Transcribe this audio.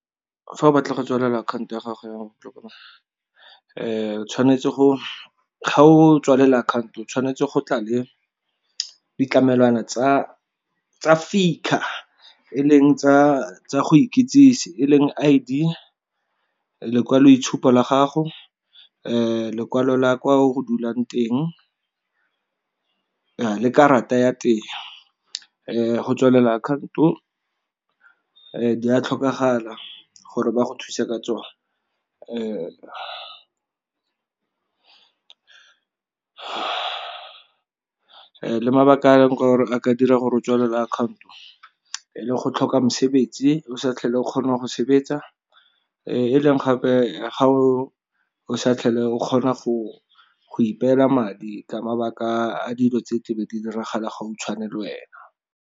Fa o batla go tswalela akhanto ya gago ya o tshwanetse go, ga o tswalela akhanto o tshwanetse go tla le ditlamelwana tsa FICA a e leng tsa go ikitsise e leng I_D, lekwaloitshupo la gago, lekwalo la kwa o dulang teng, le karata ya teng. Go tswalela akhaoto di a tlhokagala gore ba go thuse ka tsone. Le mabaka a gore a ka dira gore tswalele akhaonto e le go tlhoka mosebetsi o sa tlhole o kgonang go sebetsa, e leng gape ga o sa tlhole o kgona go ipeela madi ka mabaka a dilo tse tlebe di diragala gautshwane le wena.